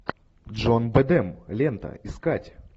джон бэдэм лента искать